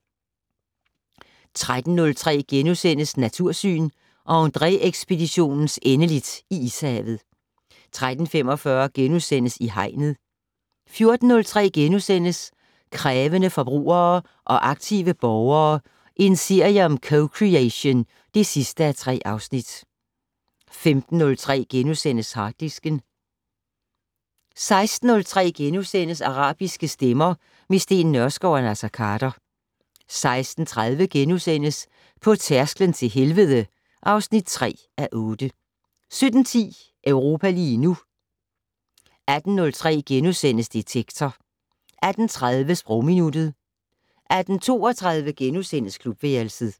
13:03: Natursyn: Andrée-ekspeditionens endeligt i Ishavet * 13:45: I Hegnet * 14:03: Krævende forbrugere og aktive borgere - en serie om co-creation (3:3)* 15:03: Harddisken * 16:03: Arabiske stemmer - med Steen Nørskov og Naser Khader * 16:30: På tærsklen til helvede (3:8)* 17:10: Europa lige nu 18:03: Detektor * 18:30: Sprogminuttet 18:32: Klubværelset *